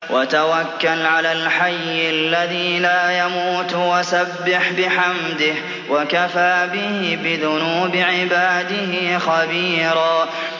وَتَوَكَّلْ عَلَى الْحَيِّ الَّذِي لَا يَمُوتُ وَسَبِّحْ بِحَمْدِهِ ۚ وَكَفَىٰ بِهِ بِذُنُوبِ عِبَادِهِ خَبِيرًا